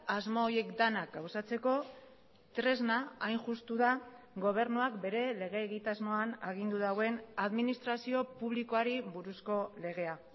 asmo horiek denak gauzatzeko tresna hain justu da gobernuak bere lege egitasmoan agindu duen administrazio publikoari buruzko legea